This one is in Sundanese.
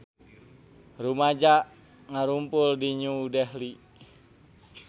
Rumaja ngarumpul di New Delhi